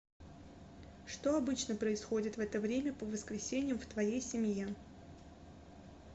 что обычно происходит в это время по воскресеньям в твоей семье